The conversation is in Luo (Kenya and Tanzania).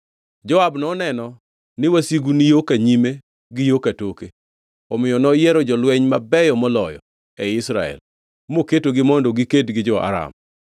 Joab noneno ni wasigu ni yo ka nyime gi yo katoke; omiyo noyiero jolweny mabeyo moloyo ei Israel, moketogi mondo giked gi jo-Aram.